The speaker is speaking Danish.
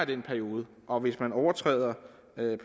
den periode og hvis man overtræder